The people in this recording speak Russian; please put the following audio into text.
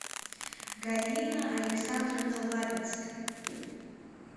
галина александровна лапицкая